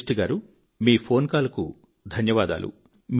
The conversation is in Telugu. సృష్టి గారు మీ ఫోన్ కాల్ కు ధన్యవాదాలు